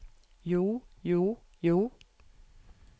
jo jo jo